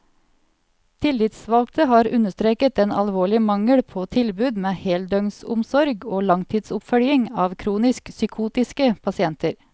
Tillitsvalgte har understreket den alvorlige mangel på tilbud med heldøgnsomsorg og langtidsoppfølging av kronisk psykotiske pasienter.